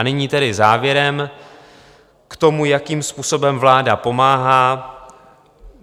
A nyní tedy závěrem k tomu, jakým způsobem vláda pomáhá.